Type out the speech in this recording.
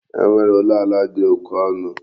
E nwere ụlọ ala dị oke ọnụ?